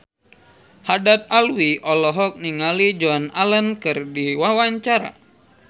Haddad Alwi olohok ningali Joan Allen keur diwawancara